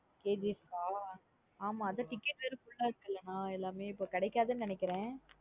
KGF கா? ஆமா அது ticket வேற full ஆஹ் இருக்குல எல்லாமே இப்ப கிடைகாது னு நெனைக்கிறன்.